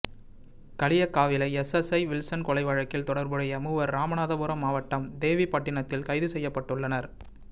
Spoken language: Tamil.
Kaliyakkavilai S S I Wilson கொலை வழக்கில் தொடர்புடைய மூவர் ராமநாதபுரம் மாவட்டம் தேவிபட்டிணத்தில் கைது செய்யப்பட்டுள்ளனர்